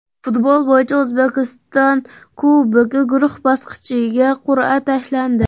Futbol bo‘yicha O‘zbekiston Kubogi guruh bosqichiga qur’a tashlandi.